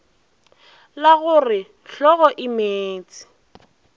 la go re hlogomeetse e